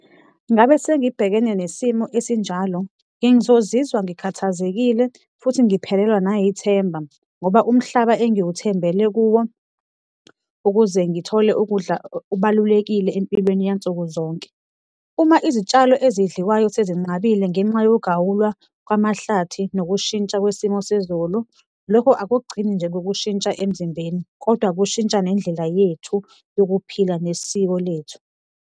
Ngabe sengibhekene nesimo esinjalo, bengizozizwa ngikhathazekile futhi ngiphelelwa nayithemba ngoba umhlaba engiwuthembele kuwo ukuze ngithole ukudla, okubalulekile empilweni yansuku zonke. Uma izitshalo ezidliwayo sezinqabile ngenxa yokugawulwa kwamahlathi nokushintsha kwesimo sezulu, lokho akugcini nje ngokushintsha emzimbeni kodwa kushintsha nendlela yethu yokuphila nesiko lethu.